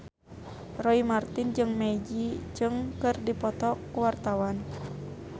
Roy Marten jeung Maggie Cheung keur dipoto ku wartawan